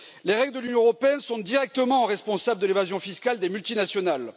Les règles de l'Union européenne sont directement responsables de l'évasion fiscale des multinationales.